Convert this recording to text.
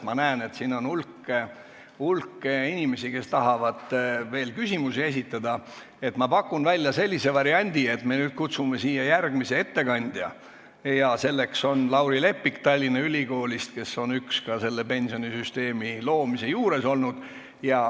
Ma näen, et siin on hulk inimesi, kes tahavad veel küsimusi esitada, seega pakun välja sellise variandi, et nüüd me kutsume siia järgmise ettekandja, kes on Lauri Leppik Tallinna Ülikoolist, üks pensionisüsteemi loomise juures olnutest.